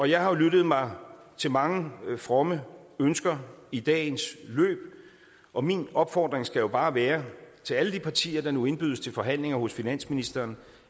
jeg har lyttet mig til mange fromme ønsker i dagens løb og min opfordring skal bare være til alle de partier der nu indbydes til forhandlinger hos finansministeren